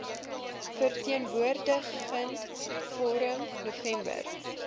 verteenwoordigende forum november